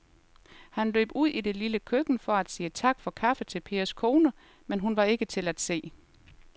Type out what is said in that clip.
Han løb ud i det lille køkken for at sige tak for kaffe til Pers kone, men hun var ikke til at se.